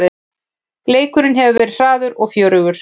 Leikurinn hefur verið hraður og fjörugur